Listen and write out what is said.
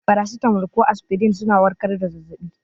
Farasitamol ko aspirin suna warkar da zazzabi.